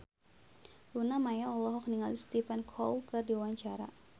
Luna Maya olohok ningali Stephen Chow keur diwawancara